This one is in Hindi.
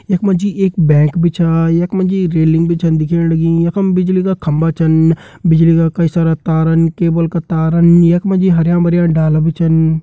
यख मा जी एक बैग भी छ यख मा जी रेलिंग भी छन दिखेण लगीं यखम बिजली का खम्बा छन बिजली का कई सारा तारान केबल का तारान यख मा जी हरयां भर्यां डाला भी छन।